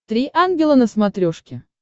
три ангела на смотрешке